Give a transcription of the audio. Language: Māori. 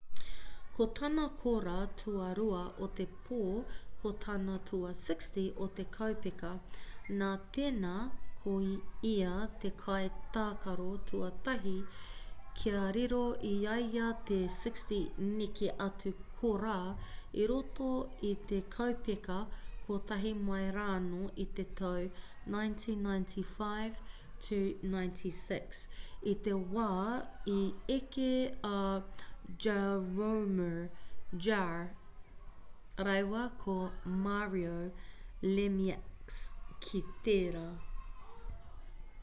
ko tāna kōrā tuarua o te pō ko tana tua 60 o te kaupeka nā tēnā ko ia te kai tākaro tuatahi kia riro i a ia te 60 neke atu kōrā i roto i te kaupeka kotahi mai rānō i te tau 1995-96 i te wā i eke a jaromir jagr rāua ko mario lemieux ki tērā